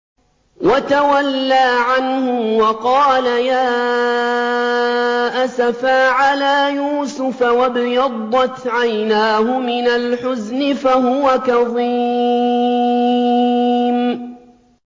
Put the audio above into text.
وَتَوَلَّىٰ عَنْهُمْ وَقَالَ يَا أَسَفَىٰ عَلَىٰ يُوسُفَ وَابْيَضَّتْ عَيْنَاهُ مِنَ الْحُزْنِ فَهُوَ كَظِيمٌ